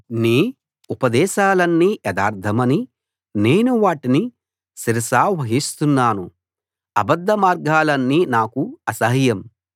నీ ఉపదేశాలన్నీ యథార్థమని నేను వాటిని శిరసావహిస్తున్నాను అబద్ధ మార్గాలన్నీ నాకు అసహ్యం